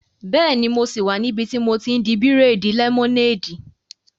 Bẹ́ẹ̀ni, mo sì wà níbi tí mo ti n di bírèèdì lẹ́mọ́néèdì